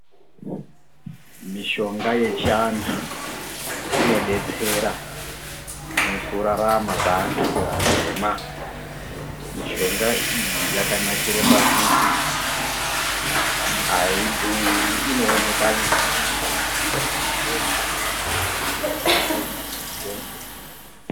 Mishonga yechi antu ino detsera muku rarama kwe antu atema mishonga iyi yaka nakire pakuti ayi dhuri ino oneka nyore ndo chikuru chino ita kuti mishonga iyi ikoshe.